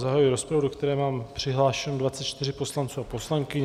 Zahajuji rozpravu, do které mám přihlášeno 24 poslanců a poslankyň.